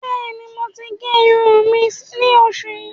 Bẹ́ẹ̀ni, mo ti gé irùn mi ní oṣù yìí.